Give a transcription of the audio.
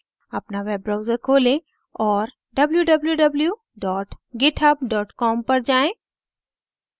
अपना web browser खोलें और www github com पर जाएँ